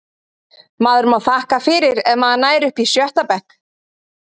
Maður má þakka fyrir ef maður nær upp í sjötta bekk.